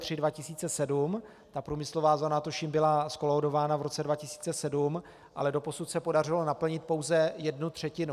Ta průmyslová zóna, tuším, byla zkolaudována v roce 2007, ale doposud se podařilo naplnit pouze jednu třetinu.